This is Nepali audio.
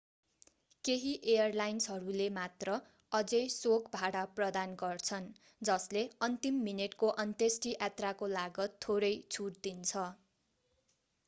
केही एयरलाइन्सहरूले मात्र अझै शोक भाडा प्रदान गर्छन् जसले अन्तिम मिनेटको अन्त्येष्टि यात्राको लागत थोरै छुट दिन्छ